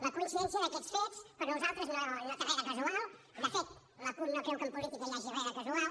la coincidència d’aquests fets per nosaltres no té re de casual de fet la cup no creu que en política hi hagi re de casual